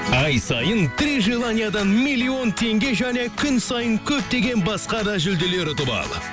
ай сайын три желаниядан миллион теңге және күн сайын көптеген басқа да жүлделер ұтып ал